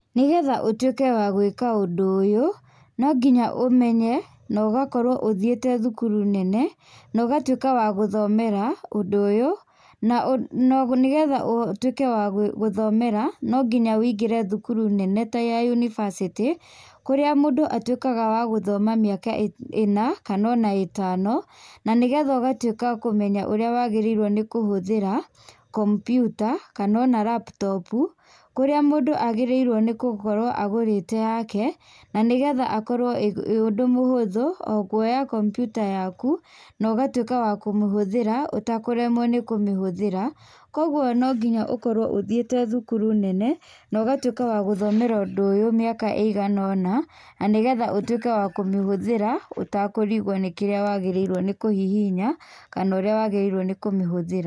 Nĩgetha ũtuĩke wa gũĩka ũndũ ũyũ, nonginya ũmenye nogakorwo ũthiĩte thukuru nene, nogatuĩka wa gũthomera ũndũ ũyũ. Na nĩgetha ũtuĩke wa gũthomera, nonginya ũingĩre thukuru nene ta ya yunibasĩtĩ kũrĩa mũndũ atuĩkaga wa gũthoma mĩaka ĩna kana ona ĩtano na nĩgetha ũgatuĩka kũmenya ũrĩa wagĩrĩirwo nĩ kũhũthĩra kompiuta kana ona laptop, kũrĩa mũndũ agĩrĩirwo nĩ gũkorwo agũrĩte yake. Na nĩgetha akorwo wĩ ũndũ mũhũthũ, o kuoya kompiuta yaku na ũgatuĩka wa kũmĩhũthĩra ũtakũremwo nĩ kũmĩhũthĩra. Koguo no nginya ũkorwo ũthiĩte thukuru nene na ũgatuĩka wa gũthomera ũndũ ũyũ mĩaka ĩiganona na nĩgetha ũtuĩke wa kũmĩhũthĩra ũtakũrigwo nĩ kĩrĩa wagĩrĩirwo nĩ kũhihinya kana ũrĩa wagĩrĩirwo nĩ kũmĩhũthĩra.